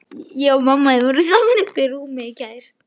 Hefurðu aldrei heyrt hann Össur nefndan?